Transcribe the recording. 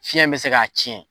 Fiɲɛ in be se k'a cɛn